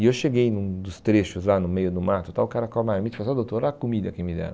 E eu cheguei num dos trechos, lá no meio do mato tal, o cara com a marmita e falou, olha, doutor, olha a comida que me deram.